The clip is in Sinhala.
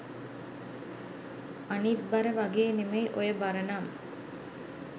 අනිත් බර වගේ නෙමෙයි ඔය බර නම්